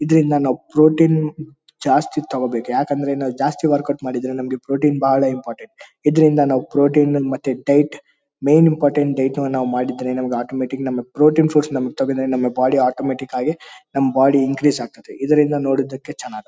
ಇದರಿಂದ ನಾವ್ ಪ್ರೊಟೀನ್ ಜಾಸ್ತಿ ತಗೋಬೇಕು ಯಾಕಂದ್ರೆ ನಾವ್ ಜಾಸ್ತಿ ವರ್ಕೌಟ್ ಮಾಡಿದ್ರೆ ನಮಗೆ ಪ್ರೊಟೀನ್ ಬಹಳ ಇಂಪಾರ್ಟೆಂಟ್ . ಇದರಿಂದ ನಾವ್ ಪ್ರೊಟೀನ್ ಮತ್ತೆ ಡಯಟ್ ಮೇನ್ ಇಂಪಾರ್ಟೆಂಟ್ ನಮಿಗೆ ಡಯಟ್ ಮಾಡಿದ್ರೆ ನಮಿಗ್ ಅಟೋಮೆಟಿಕ್ ನಮಿಗ್ ಪ್ರೊಟೀನ್ ಫಸ್ಟ್ ನಮಿಗ್ ಬಾಡಿ ಅಟೋಮೆಟಿಕ್ ಆಗಿ ನಮ್ ಬಾಡಿ ಇನ್ಕ್ರೀಜ್ ಆಗುತ್ತದೆ. ಇದರಿಂದ ನೋಡಿದಕ್ಕೆ ಚನಾಗಿ--